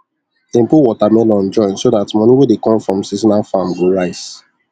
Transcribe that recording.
dem put watermelon join so dat moni wey dey come from seasonal farm go rise